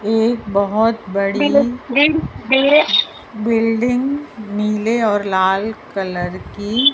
एक बहोत बड़ी बिल्डिंग नीले और लाल कलर की--